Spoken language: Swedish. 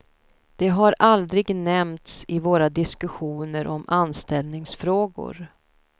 Det har aldrig nämnts i våra diskussioner om anställningsfrågor.